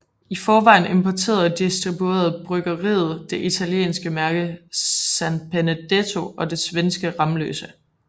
I forvejen importerede og distribuerede bryggeriet det italienske mærke San Benedetto og svenske Ramlösa